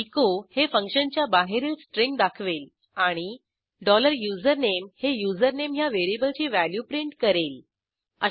echo हे फंक्शनच्या बाहेरील स्ट्रींग दाखवेल आणि डॉलर युझरनेम हे युझरनेम ह्या व्हेरिएबलची व्हॅल्यू प्रिंट करेल